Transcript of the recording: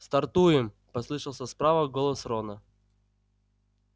стартуем послышался справа голос рона